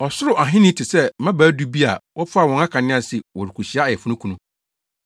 “Ɔsoro Ahenni te sɛ mmabaa du bi a wɔfaa wɔn akanea se wɔrekohyia ayeforokunu.